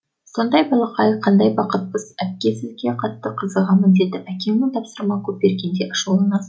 сондай балақай қандай бақыттысыз әпке сізге қатты қызығамын деді әкемнің тапсырма көп бергенде ашуланасыз